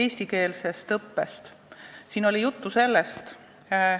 Esimene teema on eestikeelne õpe.